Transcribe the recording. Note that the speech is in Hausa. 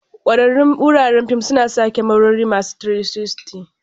Kwararrun wuraren fim suna sa kyamarori masu 360.